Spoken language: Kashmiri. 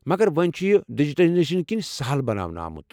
مگر وۄنۍ چُھ یہ ڈیجیٹائزیشن کِنۍ سہل بناونہٕ آمُت۔